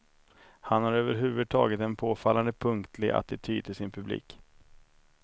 Han har överhuvudtaget en påfallande punkig attityd till sin publik.